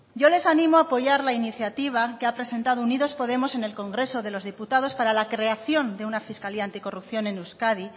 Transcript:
yo les animo a apoyar la iniciativa que ha presentado unidos podemos en el congreso de los diputados para la creación de una fiscalía anticorrupción en euskadi